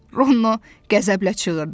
Rono qəzəblə çığırdı.